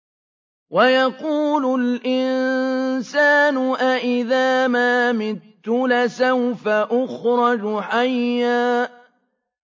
وَيَقُولُ الْإِنسَانُ أَإِذَا مَا مِتُّ لَسَوْفَ أُخْرَجُ حَيًّا